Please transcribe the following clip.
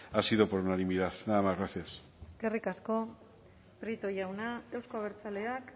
ha sido por unanimidad nada más gracias eskerrik asko prieto jauna euzko abertzaleak